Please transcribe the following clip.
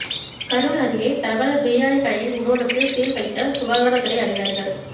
கரூர் அருகே பிரபல பிரியாணிக் கடையின் குடோனுக்கு சீல் வைத்த சுகாதாரத்துறை அதிகாரிகள்